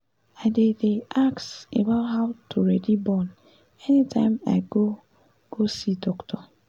i dey dey ask about how to ready born anytime i go go see doctor